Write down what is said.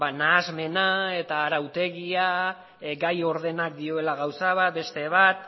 nahasmena eta arautegia gai ordena dioela gauza bat beste bat